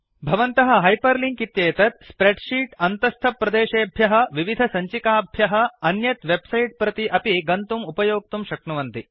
भवन्तः hyperlink इत्येतेत् spreadsheet अन्तस्थप्रदेशेभ्यः विविधसञ्चिकाभ्यःफैल् प्रति अन्यत् वेब् सैट् प्रति अपि गन्तुम् उपयोक्तुं शक्नुवन्ति